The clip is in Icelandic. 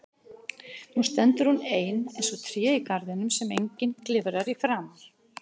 Nú stendur hún ein eins og tréð í garðinum sem enginn klifrar í framar.